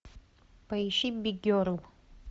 поищи биг герл